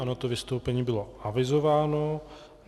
Ano, to vystoupení bylo avizováno.